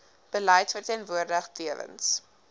beleid verteenwoordig tewens